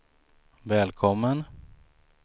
välkommen